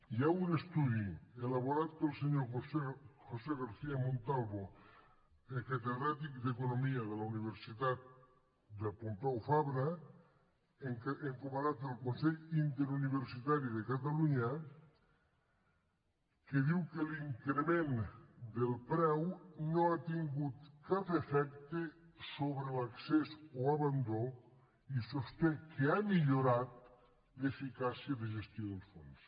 hi ha un estudi elaborat pel senyor josé garcía montalvo catedràtic d’economia de la universitat pompeu fabra encomanat pel consell interuniversitari de catalunya que diu que l’increment del preu no ha tingut cap efecte sobre l’accés o abandó i sosté que ha millorat l’eficàcia de gestió dels fons